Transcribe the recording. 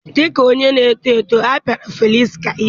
Dị ka onye na-eto eto, a pịara Felịksị ihe